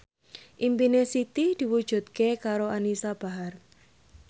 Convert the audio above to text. impine Siti diwujudke karo Anisa Bahar